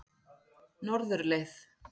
Norðurleið